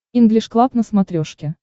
инглиш клаб на смотрешке